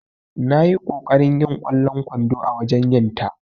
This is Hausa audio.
Nayi ƙoƙarin yin kwallon kwando a wajen yinta.